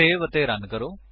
save ਅਤੇ run ਕਰੋ